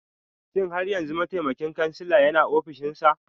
Shin har yanzu mataimakin kansila yana ofishinsa?